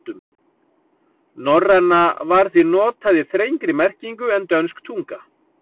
Norræna var því notað í þrengri merkingu en dönsk tunga.